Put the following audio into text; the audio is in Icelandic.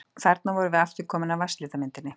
Þarna erum við aftur komin að vatnslitamyndinni.